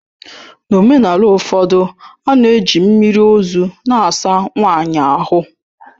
N'omenala ụfọdụ, a na-eji mmiri ozu na-asa nwanyị ahụ.